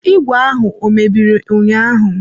Ìgwè ahụ ọ mebiri ụnyaahụ?